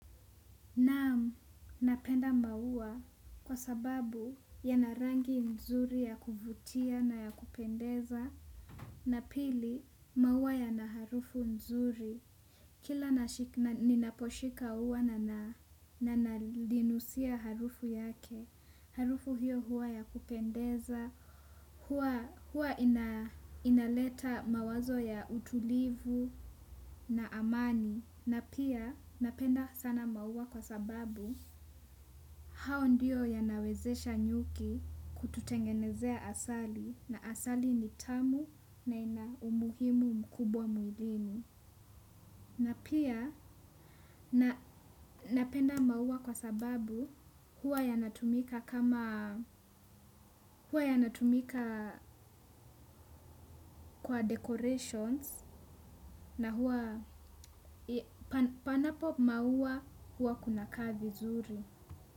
Naam, napenda maua kwa sababu yana rangi nzuri ya kuvutia na ya kupendeza na pili maua yana harufu nzuri kila ninaposhika ua na nalinusia harufu yake harufu hiyo huwa ya kupendeza huwa inaleta mawazo ya utulivu na amani. Na pia napenda sana maua kwa sababu hao ndiyo yanawezesha nyuki kututengenezea asali na asali ni tamu na ina umuhimu mkubwa mwilini. Na pia napenda maua kwa sababu huwa yanatumika kwa decorations na huwa panapo maua huwa kuna kaa vizuri.